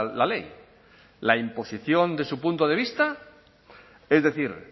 la ley la imposición de su punto de vista es decir